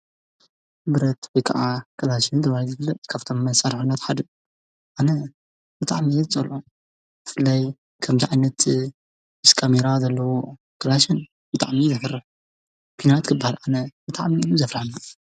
ብረት ወ ከዓ ከላሽን ተባሂ ትብለ ካብቶምመ ዝሠርዑነት ሓድ ኣነ ምትዕመየት ዘሎ እፍለይ ከም ዓኣይነቲ እስካሜራ ዘለዎ ክላሽን ይጥዕምይ ዘፍር ፊናት ክባህል ኣነ መትዓሚኒ ዘፍራን